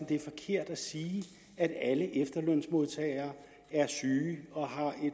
det er forkert at sige at alle efterlønsmodtagere er syge og har et